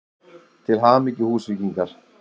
Til hamingju Húsvíkingar!!